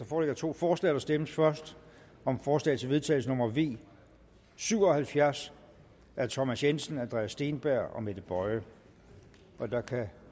foreligger to forslag der stemmes først om forslag til vedtagelse nummer v syv og halvfjerds af thomas jensen andreas steenberg og mette boye og der kan